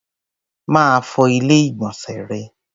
Máa fọ Ilé-ìgbọ̀nsẹ̀ rẹ.